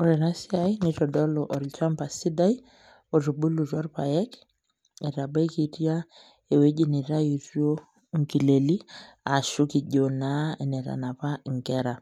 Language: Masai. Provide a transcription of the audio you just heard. Ore ena siai nitodolu olchamba sidai otubulutua irpaek etabikitia ewueji nitayutuo inkileli ashu kijo naa enetanapa inkera.